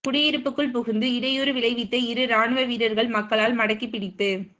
குடியிருப்புக்குள் புகுந்து இடையூறு விளைவித்த இரு இராணுவ வீரர்கள் மக்களால் மடக்கிப்பிடிப்பு